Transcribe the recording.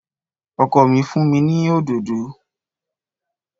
Ọkọ mi fún mi ní òdòdó